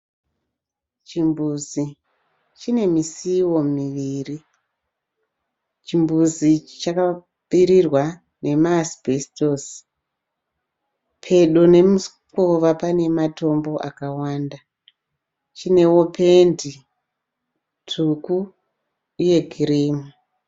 Chimbuzi chine misuwo miviri. Chimbuzi ichi chakapfirirwa nema asbestos. Pedo nemukova pane matombo akawanda. Chinewo pendi tsvuku uye kirimu.